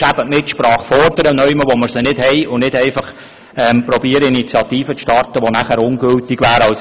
Nämlich indem man Mitsprache fordert, wo wir sie nicht haben, und nicht, indem man versucht, eine Initiative zu starten, die dann ungültig wäre.